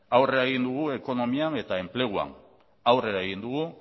aurrera egin dugu ekonomian eta enpleguan aurrera egin dugu